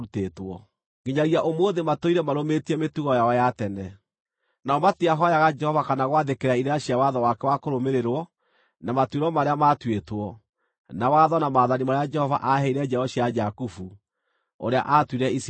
Nginyagia ũmũthĩ matũire marũmĩtie mĩtugo yao ya tene. Nao matihooyaga Jehova kana gwathĩkĩra irĩra cia watho wake wa kũrũmĩrĩrwo, na matuĩro marĩa matuĩtwo, na watho na maathani marĩa Jehova aaheire njiaro cia Jakubu, ũrĩa aatuire Isiraeli.